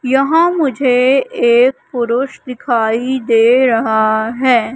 यहां मुझे एक पुरुष दिखाई दे रहा है।